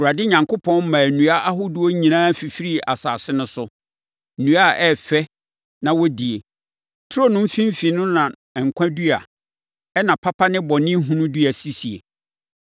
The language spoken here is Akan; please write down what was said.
Awurade Onyankopɔn maa nnua ahodoɔ nyinaa fifirii asase no so; nnua a ɛyɛ fɛ na wɔdie. Turo no mfimfini no na nkwa dua, ɛnna papa ne bɔnehunu dua sisie.